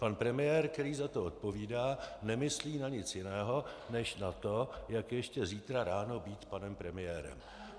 Pan premiér, který za to odpovídá, nemyslí na nic jiného než na to, jak ještě zítra ráno být panem premiérem.